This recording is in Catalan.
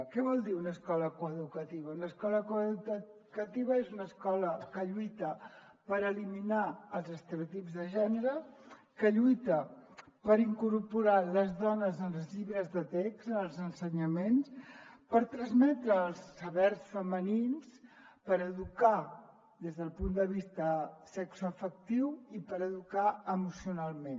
què vol dir una escola coeducativa una escola coeducativa és una escola que lluita per eliminar els estereotips de gènere que lluita per incorporar les dones en els llibres de text en els ensenyaments per transmetre els sabers femenins per educar des del punt de vista sexoafectiu i per educar emocionalment